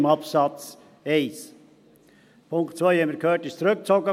Der Punkt 2 wurde zurückgezogen, wie wir gehört haben.